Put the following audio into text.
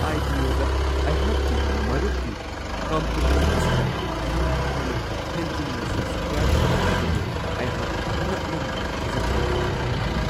ꯑꯥꯏ.ꯄꯤ.ꯑꯣ.ꯗ ꯑꯩꯍꯥꯛꯀꯤ ꯃꯔꯨꯞꯀꯤ ꯀꯝꯄꯅꯤ ꯑꯁꯤꯗ ꯌꯥꯝꯅ ꯊꯨꯅ ꯍꯦꯟꯖꯤꯟꯅ ꯁꯕꯁ꯭ꯀ꯭ꯔꯥꯏꯕ ꯇꯧꯔꯛꯈꯤꯕꯗꯨ ꯑꯩꯍꯥꯛ ꯉꯛꯃꯟꯗꯅ ꯊꯥꯖꯕ ꯉꯝꯈꯤꯗꯦ ꯫